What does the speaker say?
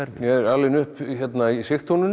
er alinn upp hérna í